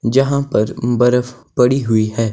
जहां पर बर्फ पड़ी हुई है।